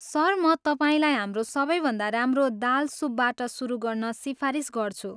Sir, म तपाईँलाई हाम्रो सबैभन्दा राम्रो दाल सुपबाट सुरु गर्न सिफारिस गर्छु।